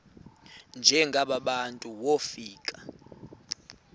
njengaba bantu wofika